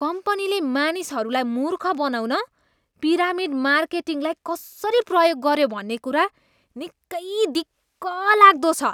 कम्पनीले मानिसहरूलाई मूर्ख बनाउन पिरामिड मार्केटिङलाई कसरी प्रयोग गऱ्यो भन्ने कुरा निकै दिक्कलाग्दो छ।